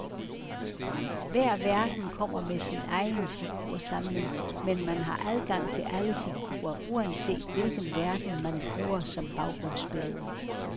Hver verden kommer med sin egen figursamling, men man har adgang til alle figurer, uanset hvilken verden, man bruger som baggrundsbillede.